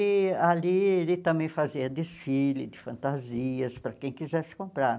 E ali ele também fazia desfile de fantasias para quem quisesse comprar.